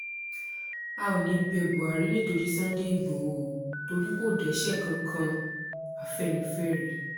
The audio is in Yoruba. a ò ní í bẹ buhari nítorí sunday igbodò ò torí kó dẹ́ṣẹ̀ kankan-afẹ́nifẹ́re